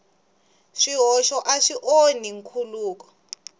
swihoxo a swi onhi nkhuluko